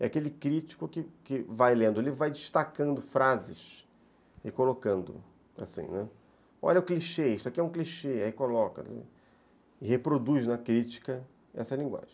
É aquele crítico que que vai lendo, ele vai destacando frases e colocando assim, ne, olha o clichê, isso aqui é um clichê, aí coloca, reproduz na crítica essa linguagem.